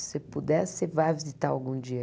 Se puder, você vai visitar algum dia.